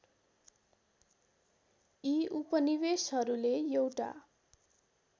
यी उपनिवेशहरूले एउटा